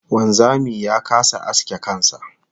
Wanzami ya kasa aske kan sa